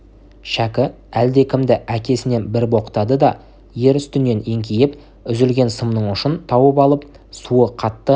шәкі әлдекімді әкесінен бір боқтады да ер үстінен еңкейіп үзілген сымның ұшын тауып алып суы қатты